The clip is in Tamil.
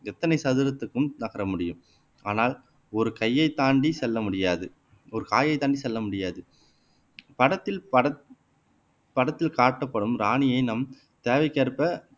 எத்தனை சதுரத்திற்கும் நகர முடியும் ஆனால் ஒரு கையைத் தாண்டி செல்ல முடியாது ஒரு காயைத் தாண்டி செல்ல முடியாது படத்தில் படத் படத்தில் காட்டப்படும் ராணியை நம் தேவைக்கேற்ப